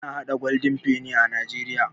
Ana haɗa Golden penny a najeriya